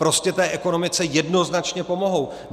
Prostě té ekonomice jednoznačně pomohou.